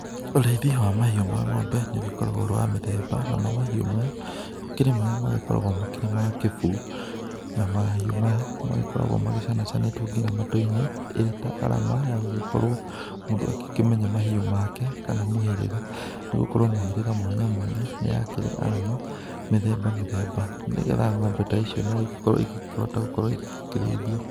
Ũrĩithia wa mahiũ ma ng'ombe nĩ ũgĩkoragwo ũrĩ wa mĩthemba namo mahiũ maya gũkĩrĩ marĩa magĩkoragwo makĩrĩ ma kĩbuu na mahiũ magikoragwo macanacanĩtwo ngina matũ-inĩ ĩrĩ ta arama, ya gũgĩkorwo mundũ agikĩmenya mahiũ make kana mũhĩrĩga. Nĩ gũkorwo mĩhĩrĩga mwanya mwanya nĩ yakĩrĩ arama mĩthemba mĩthemba. Nĩ getha ng'ombe ta icio no igĩkorwo ikĩhota gũkorwo igĩkĩrĩithio.